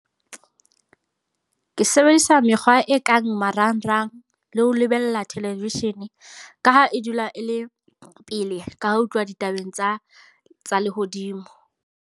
Ke sebedisa mekgwa e kang marangrang, le ho lebella television. Ka ha e dula e le pele, ka ho tluwa ditabeng tsa tsa lehodimo.